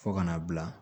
Fo ka n'a bila